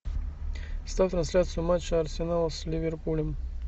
ставь трансляцию матча арсенала с ливерпулем